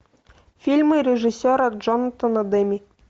фильмы режиссера джонатана демме